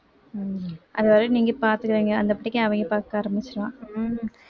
உம் அதுவரை நீங்க பாத்துக்கங்க பாக்க ஆரம்பிச்சுருவான்